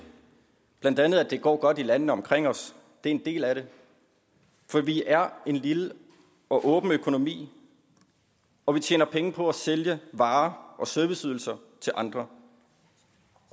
blandt andet at det går godt i landene omkring os det er en del af det for vi er en lille og åben økonomi og vi tjener penge på at sælge varer og serviceydelser til andre